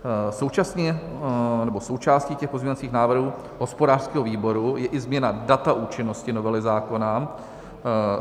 Součástí těch pozměňovacích návrhů hospodářského výboru je i změna data účinnosti novely zákona.